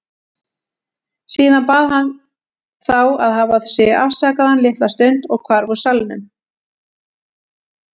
Síðan bað hann þá að hafa sig afsakaðan litla stund og hvarf úr salnum.